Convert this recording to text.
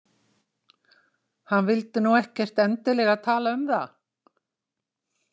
Hann vildi nú ekkert endilega tala um það.